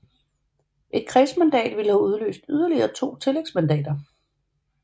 Et kredsmandat ville have udløst yderligere 2 tillægsmandater